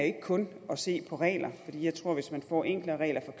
ikke kun at se på regler fordi jeg tror at hvis man får enklere regler